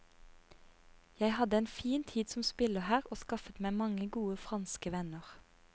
Jeg hadde en fin tid som spiller her og skaffet meg gode franske venner.